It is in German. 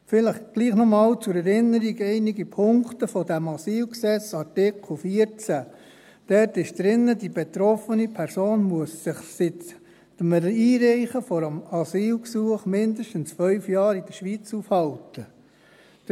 Vielleicht trotzdem noch einmal zur Erinnerung einige Punkte aus dem AsylG, Artikel 14. Dort steht drin, dass die betroffene Person sich seit dem Einreichen des Asylgesuchs mindestens 5 Jahre in der Schweiz aufhalten muss.